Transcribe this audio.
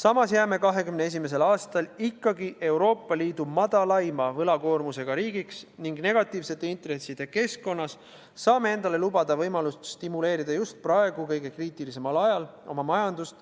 Samas jääme 2021. aastal ikkagi Euroopa Liidu väikseima võlakoormusega riigiks ning negatiivsete intresside keskkonnas saame endale lubada võimalust stimuleerida just praegu, kõige kriitilisemal ajal oma majandust,